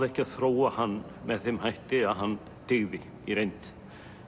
ekki að þróa hann með þeim hætti að hann dygði í reynd